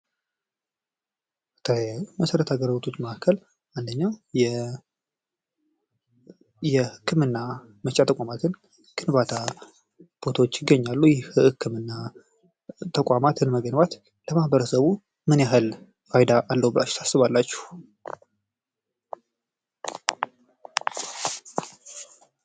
ከመሰረታዊ አገልግሎቶች መካከል አንዱ የህክምና ተቋማት ነው። የል ህክምና ተቋማት መገንባት ለማህበረሰቡ ምን ያክ ፋይዳ ኣለው ብላችሑ ታስባላችሑ?